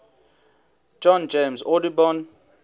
john james audubon